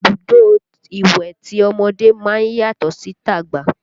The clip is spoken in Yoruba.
Ibùdó ìwẹ̀ tọmọdé máa ń yàtọ̀ sí ti àgbà